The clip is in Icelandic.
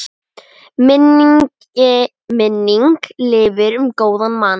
Minning lifir um góðan mann.